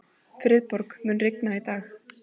Friðborg, mun rigna í dag?